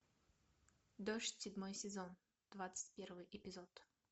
дождь седьмой сезон двадцать первый эпизод